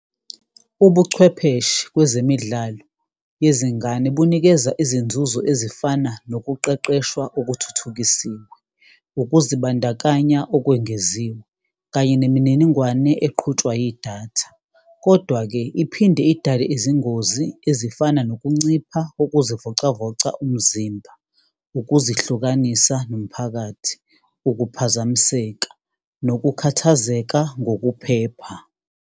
Ubuchwepheshe kwezemidlalo yezingane bunikeza izinzuzo ezifana nokuqeqeshwa okuthuthukisiwe, ukuzibandakanya okwengeziwe, kanye nemininingwane eqhutshwa yidatha. Kodwa-ke, iphinde idale izingozi ezifana nokuncipha kokuzivocavoca umzimba, ukuzihlukanisa nomphakathi, ukuphazamiseka, nokukhathazeka ngokuphepha.